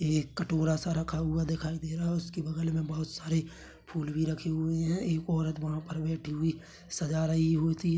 एक कटोरा सा रखा हुआ दिखाई दे रहा है उसके बगल में बहुत सारे फूल भी रखे हुए है एक औरत वहाँ पर बैठी हुई सजा रही होती है।